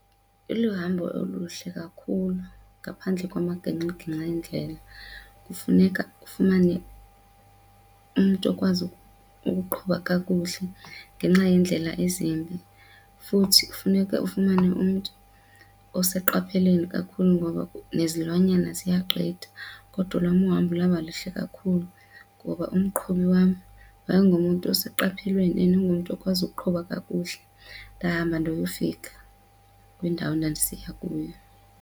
Iluhambo oluhle kakhulu ngaphandle kwamagingxigingxi eendlela. Kufuneka ufumane umntu okwazi ukuqhuba kakuhle ngenxa yeendlela ezimbi, futhi kufuneka ufumane umntu oseqopheleni kakhulu ngoba nezilwanyana ziyagqitha kodwa olwam uhambo lwaba luhle kakhulu ngoba umqhubi wam yayingumntu oseqophelweni ingumntu okwazi ukuqhuba kakuhle. Ndahamba ndayofika kwindawo endandisiya kuyo.